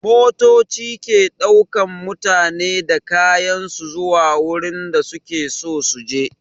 Motoci ke ɗaukan mutane da kayan su zuwa wurin da su ke so su je.